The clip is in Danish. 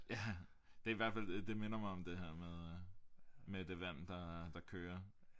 Ja det er i hvert fald det minder mig om det her med øh med det vand der øh der kører